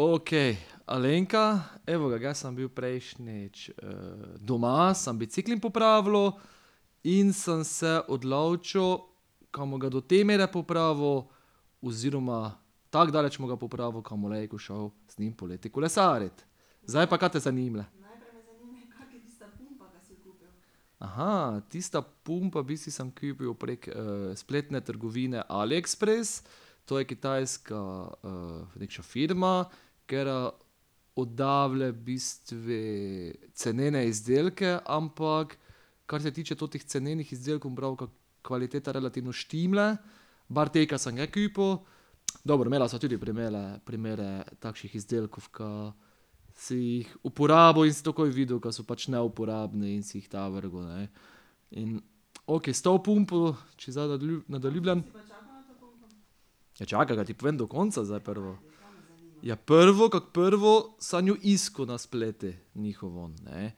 Okej, Alenka, evo ga, ge sem bil prejšnjič, doma, sam bicikel popravljal in sem se odločil, ka bom ga do te mere popravil oziroma tako daleč bom ga popravil, ka bom lejko šel z njim poleti kolesarit. Zdaj pa kaj te zanima? tista pumpa, v bistvu sem kupil prek spletne trgovine AliExpress, to je kitajska nekša firma, ker oddava v bistvu cenene izdelke, ampak kar se tiče totih cenenih izdelkov, bom pravil, ka kvaliteta relativno štima. Bar te, ka sem ja kupil, dobro, imela sva tudi primere, primere takših izdelkov, ka si jih uporabil in si takoj videl, ka so pač neuporabni, in si jih ta vrgel, ne. In okej, s to pumpo, če zdaj nadaljujem ... Ja, čakaj, da ti povem do konca zdaj prvo. Ja, prvo kak prvo sem jo iskal na spletu njihovem, ne.